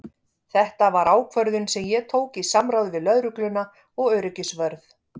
Þetta var ákvörðun sem ég tók í samráði við lögregluna og öryggisvörð.